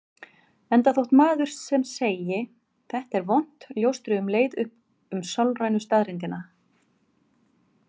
Enda þótt maður sem segi: Þetta er vont ljóstri um leið upp um sálrænu staðreyndina.